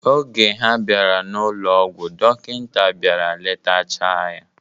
Oge ha bịara n'ụlọ ọgwụ, dọkịta bịara letacha ya.